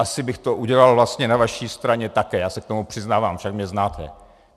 Asi bych to udělal vlastně na vaší straně také, já se k tomu přiznávám, však mě znáte.